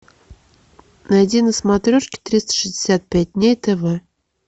найди на смотрешке триста шестьдесят пять дней тв